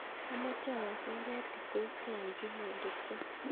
Amoche ayokyi baruet Kipkoskei en gmail.com